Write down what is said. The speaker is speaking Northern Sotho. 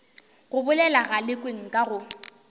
go bolela galekwe nka go